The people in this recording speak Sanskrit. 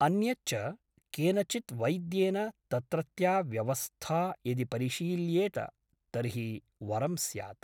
अन्यच्च , केनचित् वैद्येन तत्रत्या व्यवस्था यदि परिशील्येत तर्हि वरं स्यात् ।